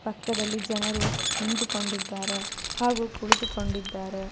ಪಕ್ಕದಲ್ಲಿ ಜನರು ನಿಂತುಕೊಂಡಿದ್ದಾರೆ ಹಾಗು ಕುಳಿತುಕೊಂಡಿದ್ದಾರೆ.